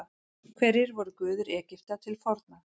Hverjir voru guðir Egypta til forna?